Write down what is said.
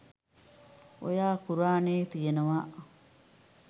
ඔයා කුරානේ තියනවා